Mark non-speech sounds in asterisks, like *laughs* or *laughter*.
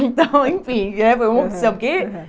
*laughs* Então, enfim, eh, foi uma opção, porque